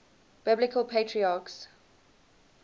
biblical patriarchs